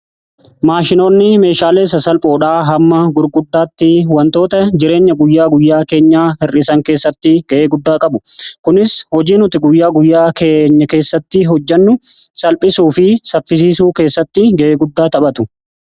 Maashinoonni meeshaalee sasalphoodhaa. Hamma gurguddaatti wantoota jireenya guyyaa guyyaa keenya hir'isan keessatti ga'ee guddaa qabu . kunis hojii nuti guyyaa guyyaa keenya keessatti hojjennu salphisuu fi saffisiisuu keessatti ga'e guddaa taphatu.